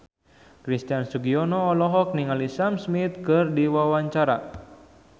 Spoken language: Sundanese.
Christian Sugiono olohok ningali Sam Smith keur diwawancara